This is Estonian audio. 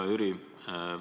Hea Jüri!